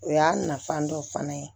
O y'a nafan dɔ fana ye